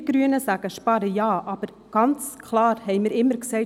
Wir Grünen sagen, sparen ja, aber ganz klar haben wir immer gesagt: